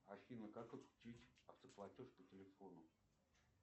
афина как подключить автоплатеж по телефону